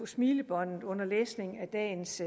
smilebåndet under læsningen af dagens